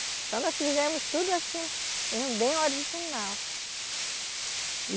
Então, nós fizemos tudo assim, bem original.